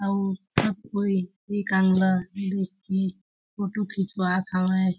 अउ सब कोई एक अंग ल देख के फोटो खिचवात हवे।